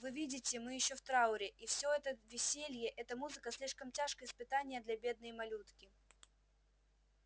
вы видите мы ещё в трауре и все это веселье эта музыка слишком тяжкое испытание для бедной малютки